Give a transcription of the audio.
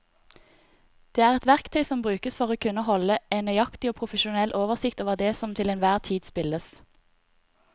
Det er et verktøy som brukes for å kunne holde en nøyaktig og profesjonell oversikt over det som til enhver tid spilles.